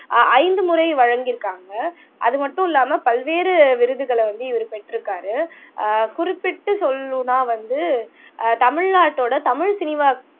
ஆஹ் ஐந்து முறை வழங்கியிருக்காங்க அது மட்டும் இல்லாம பல்வேறு விருதுகளை வந்து இவர் பெற்றிருக்காரு ஆஹ் குறிப்பிட்டு சொல்லணும்ன்னா வந்து ஆஹ் தமிழ்நாட்டோட தமிழ் சினிமா